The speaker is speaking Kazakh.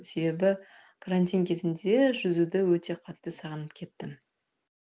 себебі карантин кезінде жүзуді өте қатты сағынып кеттім